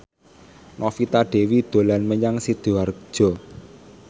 Novita Dewi dolan menyang Sidoarjo